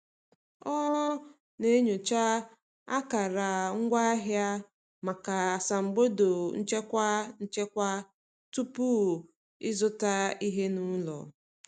O na-enyocha akara ngwaahịa maka asambodo nchekwa nchekwa tupu ịzụta ihe n’ụlọ.